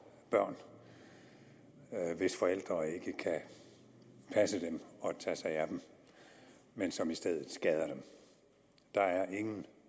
børn hvis forældre ikke kan passe dem og tage sig af dem men som i stedet skader dem der er ingen